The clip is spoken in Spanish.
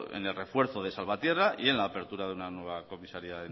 en el refuerzo de salvatierra y en la apertura de una nueva comisaría